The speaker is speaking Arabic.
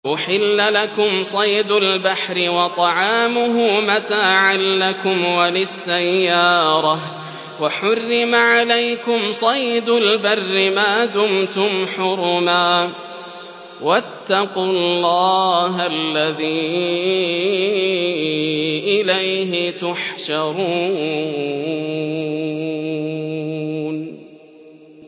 أُحِلَّ لَكُمْ صَيْدُ الْبَحْرِ وَطَعَامُهُ مَتَاعًا لَّكُمْ وَلِلسَّيَّارَةِ ۖ وَحُرِّمَ عَلَيْكُمْ صَيْدُ الْبَرِّ مَا دُمْتُمْ حُرُمًا ۗ وَاتَّقُوا اللَّهَ الَّذِي إِلَيْهِ تُحْشَرُونَ